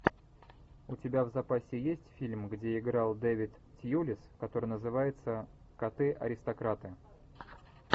у тебя в запасе есть фильм где играл дэвид тьюлис который называется коты аристократы